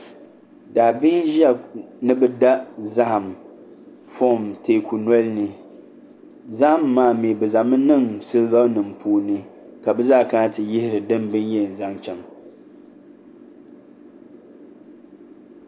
Daabihi n ʒiya ni bi da zaham zaham furom teeku noli ni zaham maa mii bi zaŋmi niŋ siliba nim puuni ka bi zaa kana ti yihiri ni bi yihi zaŋ chɛŋ